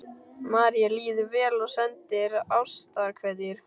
Marie líður vel og sendir ástarkveðjur.